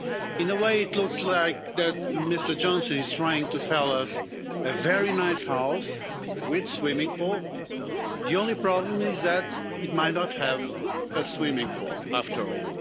In a way, it looks like Mr Johnson is trying to sell us a very nice house with a swimming pool the only problem is that it might not have a swimming pool after all.